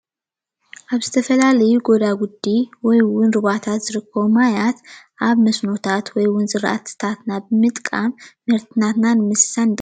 ኣብ ዝተፈላለዩ ጎዳጉዲ ወይ እውን ሩባታት ዝርከቡ ማያት ኣብ መስኖታት ወይ እውን ዝራእትታት ናብ ምጥቃም ምህርትታትና ንምስሳን ይጠቅም፡፡